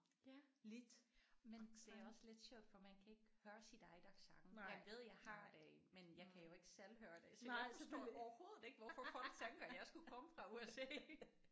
Ja men det er også lidt sjovt for man kan ikke høre sit eget accent jeg ved jeg har det men jeg kan jo ikke selv høre det så jeg forstår overhovedet ikke hvorfor folk tænker jeg skulle komme fra USA